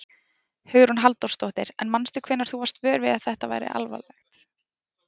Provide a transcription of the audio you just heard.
Hugrún Halldórsdóttir: En manstu hvenær þú varst vör við það að þetta var alvarlegt?